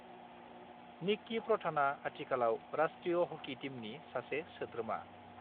निक्की प्रधानआ आथिखालाव राष्ट्रीय हकी टीमनि सासे सोद्रोमा।